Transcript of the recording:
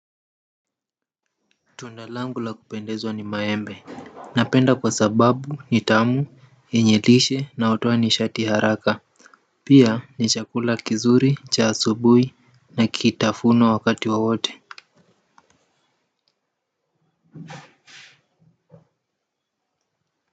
Tunda langu la kupendezwa ni maembe napenda kwa sababu ni tamu, yenye lishe na hutoa nishati ya haraka pia ni chakula kizuri, cha asubuhi na kitafuno wakati wowote.